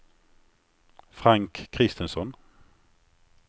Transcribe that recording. Frank Christensson